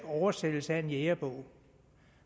oversættelse af en jægerbog